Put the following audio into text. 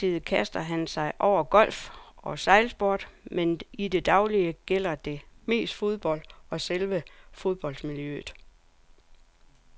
I sin fritid kaster han sig over golf og sejlsport, men i det daglige gælder det mest fodbold og selve fodboldmiljøet.